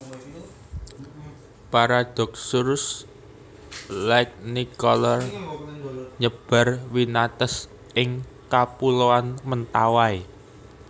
Paradoxurus lignicolor nyebar winates ing Kapuloan Mentawai